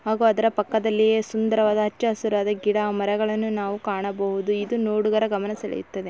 ಹಾಗು ಅದರ ಪಕ್ಕದಲ್ಲಿಯೇ ಸುಂದರವಾದ ಅಚ್ಚ ಹಸಿರಾದ ಗಿಡ ಮರಗಳ್ನು ನಾವ ಕಾಣಬಹುದು. ಇದು ನೋಡುಗರ ಗಮನ ಸೆಳೆಯುತ್ತದೆ.